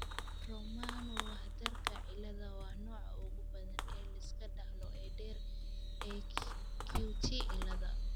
Romano Wardka cilada waa nooca ugu badan ee la iska dhaxlo ee dheer ee QT cilada.